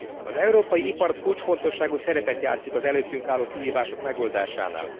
Az európai ipar kulcsfontosságú szerepet játszik az előttünk álló kihívások megoldásánál.